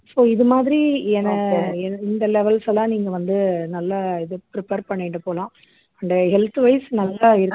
so இது மாதிரி இந்த levels எல்லாம் நீங்க வந்து நல்லா இது prepare பண்ணிட்டு போலாம் and health wise நல்லா